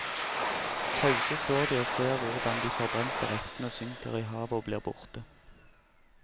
Tause står de og ser hvordan de forbrente restene synker i havet og blir borte.